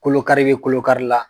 Kolo kari bɛ kolo kari la